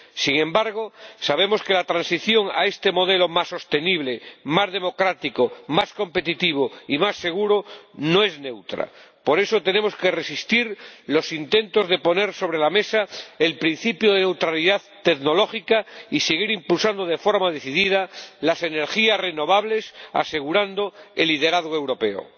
Sin embargo, sabemos que la transición a este modelo más sostenible, más democrático, más competitivo y más seguro no es neutra. Por eso, tenemos que resistir los intentos de poner sobre la mesa el principio de neutralidad tecnológica y hemos de seguir impulsando de forma decidida las energías renovables, para asegurar el liderazgo europeo.